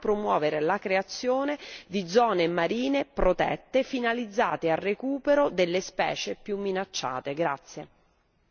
Sarà fondamentale promuovere la creazione di zone marine protette finalizzate al recupero delle specie più minacciate.